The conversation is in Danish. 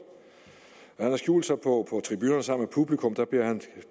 han har skjult sig på tribunerne sammen med publikum og